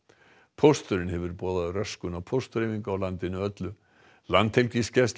pósturinn hefur boðað röskun á póstdreifingu á landinu öllu Landhelgisgæslan